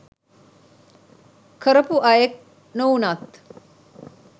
කරපු අයෙක් නොවුනත්